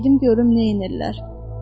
Gedim görüm neynədilər.